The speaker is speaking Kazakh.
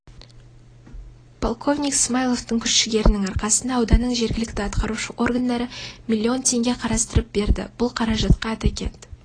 полковник смаиловтың күш жігерінің арқасында ауданның жергілікті атқарушы органдары миллион теңге қарастырып берді бұл қаражатқа атакент